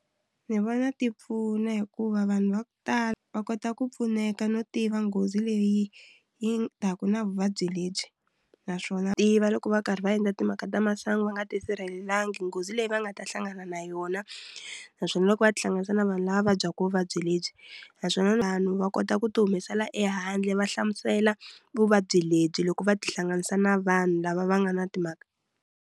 Ndzi vona ti pfuna hikuva vanhu va ku tala va kota ku pfuneka no tiva nghozi leyi yi taka na vuvabyi lebyi naswona tiva loko va karhi va endla timhaka ta masangu va nga ti sirhelelanga nghozi leyi va nga ta hlangana na yona naswona loko va tihlanganisa na vanhu lava vabyaka vuvabyi lebyi naswona vanhu va kota ku ti humesela ehandle va hlamusela vuvabyi lebyi loko va tihlanganisa na vanhu lava va nga na timhaka.